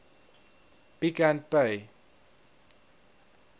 pick and pay